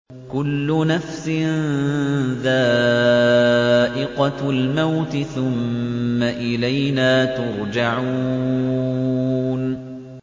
كُلُّ نَفْسٍ ذَائِقَةُ الْمَوْتِ ۖ ثُمَّ إِلَيْنَا تُرْجَعُونَ